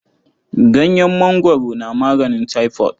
Ganyen mangwaro na maganin taifot.